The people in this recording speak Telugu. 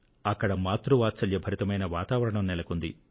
అక్కడ మాతృ వాత్సల్య భరితమైన వాతావరణం నెలకొంది